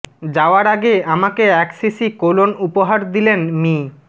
যাওয়ার আগে আমাকে এক শিশি কোলন উপহার দিলেন মি